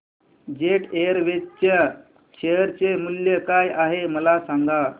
jet Airways च्या share चे मूल्य काय आहे मला सांगा